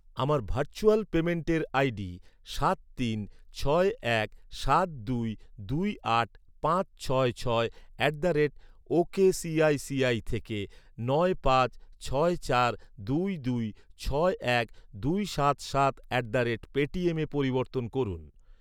আমার ভার্চুয়াল পেইমেন্টের আইডি সাত তিন ছয় এক সাত দুই দুই আট পাঁচ ছয় ছয় at the rate ok ICICI থেকে নয় পাঁচ ছয় চার দুই দুই ছয় এক দুই সাত সাত অ্যাট দ্য রেট পেটিএমে পরিবর্তন করুন।